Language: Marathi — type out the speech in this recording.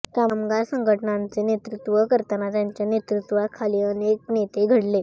कामगार संघटनांचे नेतृत्व करताना त्यांच्या नेतृत्वाखाली अनेक नेते घडले